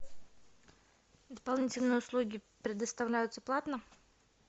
дополнительные услуги предоставляются платно